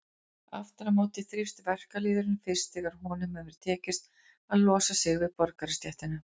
Aftur á móti þrífst verkalýðurinn fyrst þegar honum hefur tekist að losa sig við borgarastéttina.